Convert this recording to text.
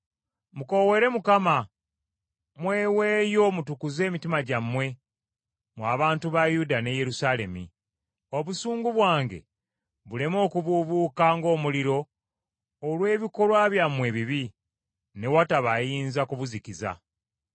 Mukoowoole Mukama , mweweeyo mutukuze emitima gyammwe mwe abantu ba Yuda ne Yerusaalemi, obusungu bwange buleme okubuubuuka ng’omuliro, olw’ebikolwa byammwe ebibi, ne wataba ayinza kubuzikiza.”